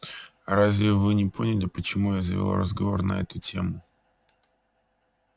разве вы не поняли почему я завёл разговор на эту тему